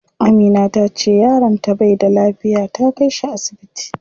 Amina tace yaron ta bai da lafiya, ta kai shi asibiti.